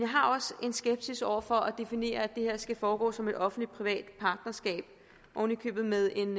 har også en skepsis over for at definere at det her skal foregå som et offentlig privat partnerskab oven i købet med en